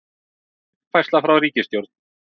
Uppfærsla frá ritstjórn: